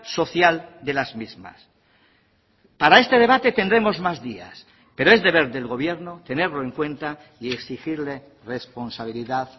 social de las mismas para este debate tendremos más días pero es deber del gobierno tenerlo en cuenta y exigirle responsabilidad